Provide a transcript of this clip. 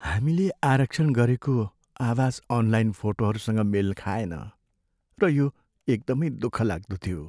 हामीले आरक्षण गरेको आवास अनलाइन फोटोहरूसँग मेल खाएन, र यो एकदमै दुःखलाग्दो थियो।